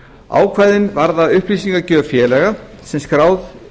ákvæðin varða upplýsingagjöf félaga sem skráð